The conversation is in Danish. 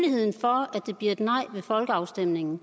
den kommende folkeafstemning